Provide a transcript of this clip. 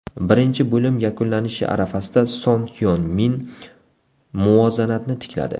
Birinchi bo‘lim yakunlanishi arafasida Son Hyon Min muvozanatni tikladi.